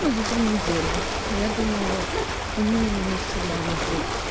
ну за три недели я думаю он минимум месяца два у нас будет